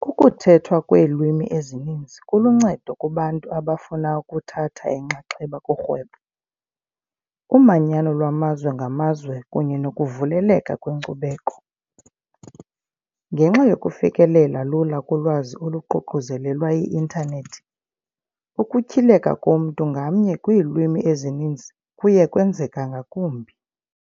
Ukuthethwa kweelwimi ezininzi kuluncedo kubantu abafuna ukuthatha inxaxheba kurhwebo, umanyano lwamazwe ngamazwe kunye nokuvuleleka kwenkcubeko. Ngenxa yokufikelela lula kulwazi oluququzelelwa yi-Intanethi, ukutyhileka komntu ngamnye kwiilwimi ezininzi kuye kwenzeka ngakumbi.